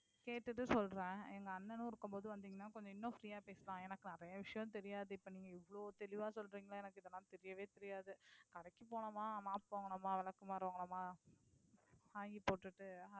கேட்டிட்டு சொல்லறேன். எங்க அண்ணனும் இருக்கும் போது வந்தீங்கனா கொஞ்சம் இன்னும் free ஆஹ் பேசலாம். எனக்கு நிறயை விஷயம் தெரியாது. இப்போ நீங்க இவளோ தெளிவா சொல்றீங்களா எனக்கு இது எல்லாம் தெரியவே தெரியாது. கடைக்கு போனோமா mop வாங்கினோமா விளக்குமாறு வாங்கினோமா வாங்கி போட்டிட்டு